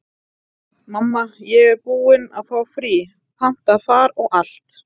Mamma, ég er búin að fá frí, panta far og allt.